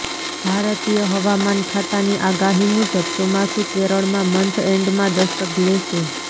ભારતીય હવામાન ખાતાની આગાહી મુજબ ચોમાસું કેરળમાં મન્થ એન્ડમાં દસ્તક લેશે